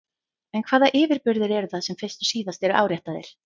En hvaða yfirburðir eru það sem fyrst og síðast eru áréttaðir?